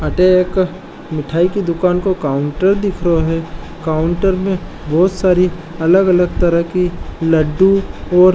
अठे एक मिठाई की दुकान को काउंटर दिखरो है काउंटर में बोहोत सारी अलग अलग तरह की लड्डू और --